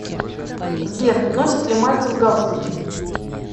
сбер носит ли мальцев галстуки